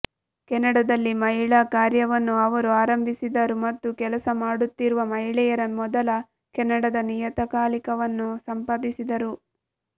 ಕೆನಡಾದಲ್ಲಿ ಮಹಿಳಾ ಕಾರ್ಯವನ್ನು ಅವರು ಪ್ರಾರಂಭಿಸಿದರು ಮತ್ತು ಕೆಲಸ ಮಾಡುತ್ತಿರುವ ಮಹಿಳೆಯರ ಮೊದಲ ಕೆನಡಾದ ನಿಯತಕಾಲಿಕವನ್ನು ಸಂಪಾದಿಸಿದರು